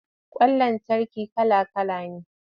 Ƙwan lantarki kala-kala ne.